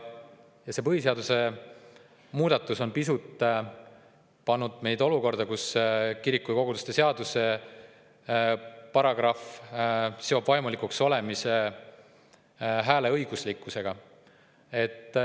See põhiseaduse muudatus on pannud meid olukorda, kus kirikute ja koguduste seaduse paragrahv seob vaimulikuks olemise hääleõiguslikkusega.